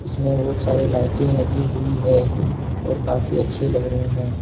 इसमें बहुत सारी लाइटें लगी हुई है और काफी अच्छी लग रहे हैं।